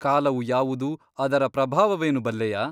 ಕಾಲವು ಯಾವುದು ಅದರ ಪ್ರಭಾವವೇನು ಬಲ್ಲೆಯಾ ?